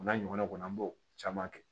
O n'a ɲɔgɔnnaw kɔni an b'o caman kɛ